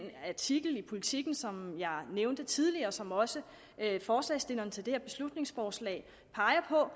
artikel i politiken som jeg nævnte tidligere og som også forslagsstilleren til det her beslutningsforslag peger på